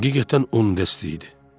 Həqiqətən 10 dəst idi.